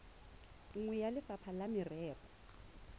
nngwe ya lefapha la merero